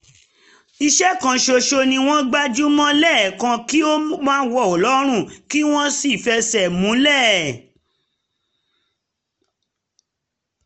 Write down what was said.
iṣẹ́ kan ṣoṣo ni wọ́n gbájú mọ́ lẹ́ẹ̀kan kí ó má wọ̀ lọ́rùn kí wọ́n sì fẹsẹ̀ múlẹ̀